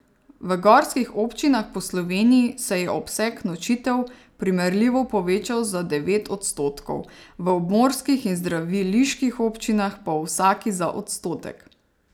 V gorskih občinah po Sloveniji se je obseg nočitev primerljivo povečal za devet odstotkov, v obmorskih in zdraviliških občinah pa v vsaki za odstotek.